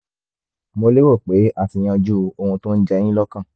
mo lérò pé a ti yanjú ohun tó ń jẹ yín lọ́kàn